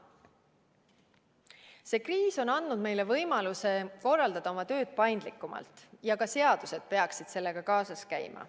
See kriis on andnud meile võimaluse korraldada oma tööd paindlikumalt ja ka seadused peaksid sellega kaasas käima.